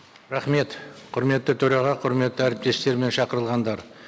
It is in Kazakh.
рахмет құрметті төраға құрметті әріптестер мен шақырылғандар